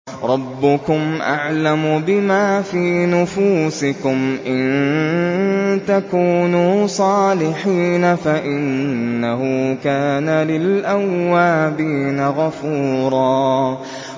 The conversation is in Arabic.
رَّبُّكُمْ أَعْلَمُ بِمَا فِي نُفُوسِكُمْ ۚ إِن تَكُونُوا صَالِحِينَ فَإِنَّهُ كَانَ لِلْأَوَّابِينَ غَفُورًا